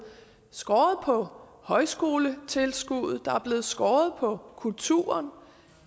skåret ned på højskoletilskuddet der er blevet skåret ned på kulturen